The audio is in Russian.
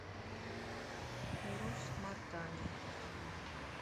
урус мартане